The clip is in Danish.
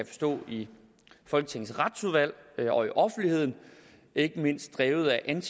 forstå i folketingets retsudvalg og i offentligheden ikke mindst drevet af